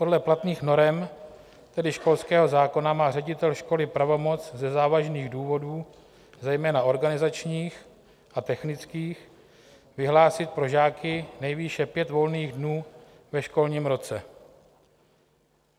Podle platných norem, tedy školského zákona, má ředitel školy pravomoc ze závažných důvodů, zejména organizačních a technických, vyhlásit pro žáky nejvýše pět volných dnů ve školním roce.